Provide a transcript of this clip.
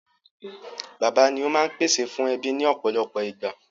Bàbá ni ó máa ń pèsè fún ẹbí ní ọ̀pọ̀lọpọ̀ ìgbà.